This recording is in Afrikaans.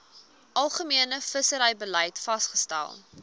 algemene visserybeleid vasgestel